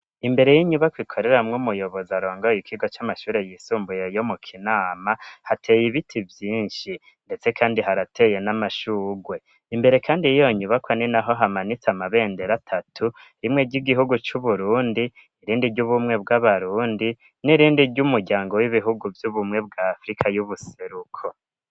Imbere y'inyubakwa ikoreramwo umuyobozi arongara ikigo c'amashure yisumbuye yo mu Kinama hateye ibiti vyishi ndetse kandi harateye n'amashurwe imbere kandi yiyo nyubakwa ninaho hamanitse amabendera atatu rimwe ry'igihugu cu Burundi irindi ry'ubumwe bw'abarundi n'irindi ry'umuryango w'ibihugu vy'ubumwe bwa afrika y'ubuseruko